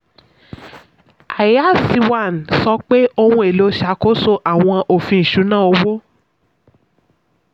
ias one sọ pé ohun-èlò ṣàkóso àwọn òfin ìṣúná owó.